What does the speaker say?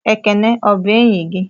Ekene ọ bụ enyị gị?